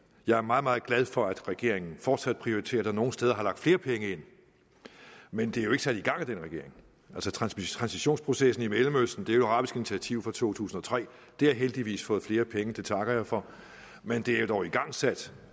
jeg er meget meget glad for at regeringen fortsat prioriterer og nogle steder har lagt flere penge ind men det er jo ikke sat i gang af den regering altså transitionsprocessen i mellemøsten er jo et arabisk initiativ fra to tusind og tre det har heldigvis fået flere penge og det takker jeg for men det er jo dog igangsat